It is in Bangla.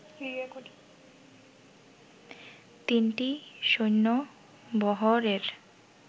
তিনটি সৈন্যবহরের